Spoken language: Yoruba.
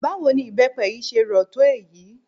Báwo ni ibepe yìí ṣe rò tó èyí?